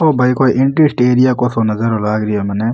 वो भाई कोई एंटी को सो नजारा लाग रेहो मने।